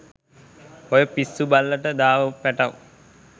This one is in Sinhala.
ඔය පිස්සු බල්ලට දාව පැටව්